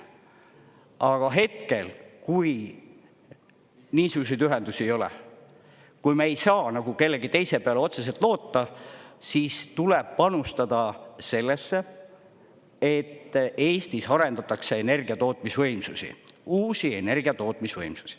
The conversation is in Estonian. Aga hetkel, kui niisuguseid ühendusi ei ole, kui me ei saa nagu kellegi teise peale otseselt loota, siis tuleb panustada sellesse, et Eestis arendatakse energiatootmisvõimsusi, uusi energiatootmisvõimsusi.